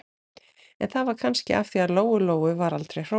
En það var kannski af því að Lóu-Lóu var aldrei hrósað.